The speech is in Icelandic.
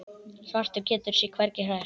Svartur getur sig hvergi hrært.